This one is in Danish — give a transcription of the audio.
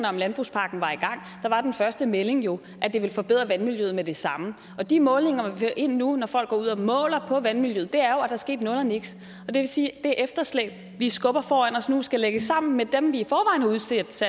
om landbrugspakken var i gang var den første melding jo at det ville forbedre vandmiljøet med det samme de målinger vi ind nu når folk går ud og måler på vandmiljøet der er sket nul og niks det vil sige at det efterslæb vi skubber foran os nu skal lægges sammen med de seks